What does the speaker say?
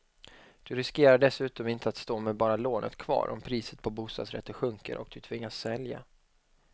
Du riskerar dessutom inte att stå med bara lånet kvar om priset på bostadsrätter sjunker och du tvingas sälja.